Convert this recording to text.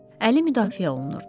Əli müdafiə olunurdu.